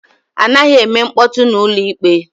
Anaghị eme mkpọtụ na ụlọ ikpe